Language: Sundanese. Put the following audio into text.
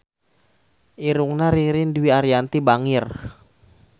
Irungna Ririn Dwi Ariyanti bangir